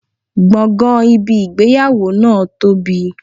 Gbọ̀ngàn ibi ìgbéyàwó náà tóbi.